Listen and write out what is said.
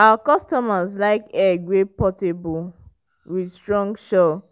our customers like egg wey portable with strong shell